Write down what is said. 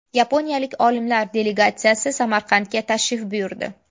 Yaponiyalik olimlar delegatsiyasi Samarqandga tashrif buyurdi.